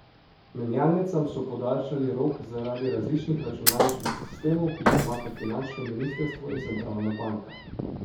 Menjalnicam so podaljšali rok zaradi različnih računalniških sistemov, ki jih imata finančno ministrstvo in centralna banka.